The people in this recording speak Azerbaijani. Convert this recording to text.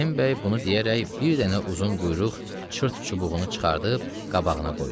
Rəhimbəy bunu deyərək bir dənə uzun quyruq çırt çubuğunu çıxarıb qabağına qoydu.